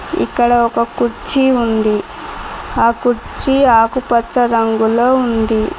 ఇక్కడ ఒక కుర్చీ ఉంది ఆ కుర్చీ ఆకుపచ్చ రంగులో ఉంది.